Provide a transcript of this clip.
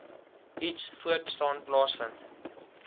iets voortbestaan plaasvind